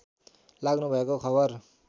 लाग्नुभएको खबर